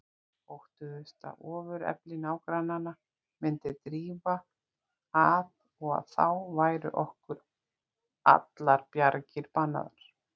Óttuðust að ofurefli nágranna myndi drífa að og að þá væru okkur allar bjargir bannaðar.